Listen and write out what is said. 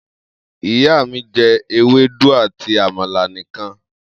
Iya mi je ewedu ati amala nikan